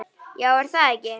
Já er það ekki?